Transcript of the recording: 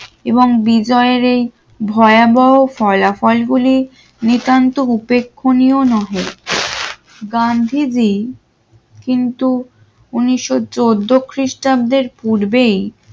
এবং বিজয়ের এই ভয়াবহ ফলাফল গুলি নিতান্ত উপাখনিও নহে গান্ধীজি কিন্তু উন্নিশ চাদ্দোখ্রিস্টাব্দের পূর্বেই